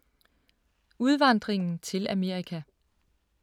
Udvandringen til Amerika